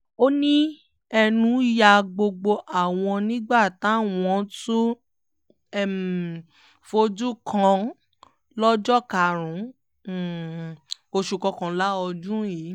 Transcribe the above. ó ní ẹnu ya gbogbo àwọn nígbà táwọn tún um fojú kàn án lọ́jọ́ karùn-ún um oṣù kọkànlá ọdún yìí